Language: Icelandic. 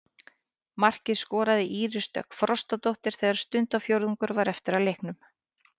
Markið skoraði Íris Dögg Frostadóttir þegar stundarfjórðungur var eftir af leiknum.